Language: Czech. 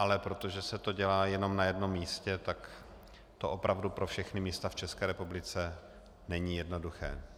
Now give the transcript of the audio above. Ale protože se to dělá jenom na jednom místě, tak to opravdu pro všechna města v České republice není jednoduché.